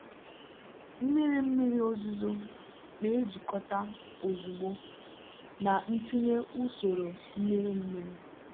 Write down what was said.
mmiri mmiri ozuzo na-ejikọta ozugbo na ntinye usoro mmiri mmiri.